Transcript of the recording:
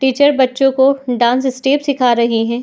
Teacher बच्चो को dance steps सीखा रही है।